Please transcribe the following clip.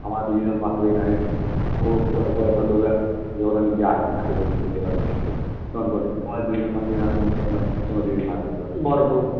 আমরা দুজনা পাশাপাশি দাঁড়ায়া থাকি ও সব জায়গায় এবার আমি যাই সাথে সাথে থাকি তখন বলে তোমারা দুজনা পাশা পাশি আসলে মনে হয় যেন চলো দুজনা হাত ধরি